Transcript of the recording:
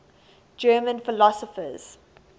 german philosophers